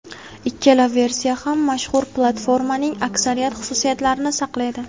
Ikkala versiya ham mashhur platformaning aksariyat xususiyatlarini saqlaydi.